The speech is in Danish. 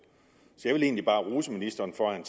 så jeg vil egentlig bare rose ministeren for at han